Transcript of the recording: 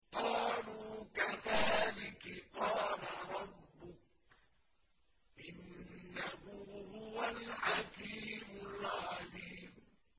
قَالُوا كَذَٰلِكِ قَالَ رَبُّكِ ۖ إِنَّهُ هُوَ الْحَكِيمُ الْعَلِيمُ